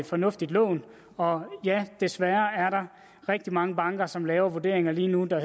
fornuftigt lån og ja desværre er der rigtig mange banker som laver vurderinger lige nu der